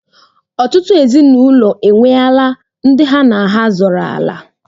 Ọtụtụ ezinụlọ enweela ndị ha na ha zọrọ ala.